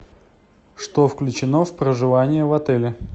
что включено в проживание в отеле